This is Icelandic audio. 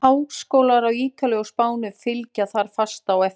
Háskólar á Ítalíu og Spáni fylgja þar fast á eftir.